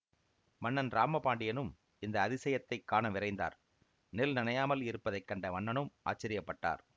மன்னன் ராம பாண்டியனும் இந்த அதிசயத்தை காணவிரைந்தார் நெல் நனையாமல் இருப்பதை கண்ட மன்னனும் ஆச்சரியப்பட்டார்